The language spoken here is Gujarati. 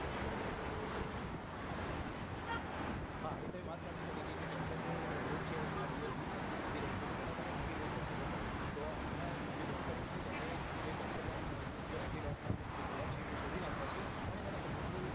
હા એ તમે વાત સાચી કરી કે જે cancer નો રોંગ છે દિન પ્રતિદિન વધી રહ્યું છે તેના સામે antidote પણ શોધવો પડે તો હાલના જે doctor છે તેમને જે cancer જે dotantidot છે એ શોધી નાખ્યા છે પણ એ તેને succesfull